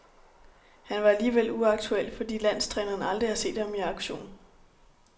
Han var alligevel uaktuel, fordi landstræneren aldrig har set ham i aktion.